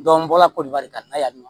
n bɔra ko bari ka na yama